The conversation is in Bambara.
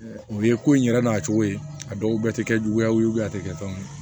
O ye ko in yɛrɛ n'a cogo ye a dɔw tɛ kɛ juguya ye a tɛ kɛ tan